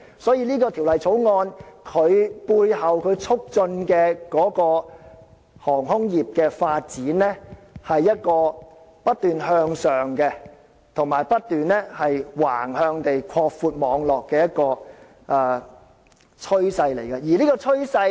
所以，《條例草案》所促進的航空業發展，就是一個不斷向上及不斷橫向擴闊網絡的一種趨勢。